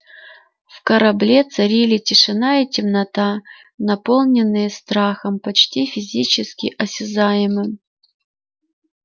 в корабле царили тишина и темнота наполненные страхом почти физически осязаемым